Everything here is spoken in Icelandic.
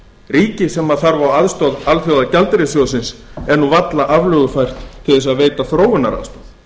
ríkið sem þarf á aðstoð alþjóðagjaldeyrissjóðsins að halda er nú varla aflögufært til að veita þróunaraðstoð